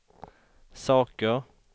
saker